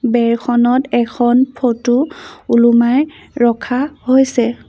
বেৰখনত এখন ফটো ওলোমাই ৰখা হৈছে।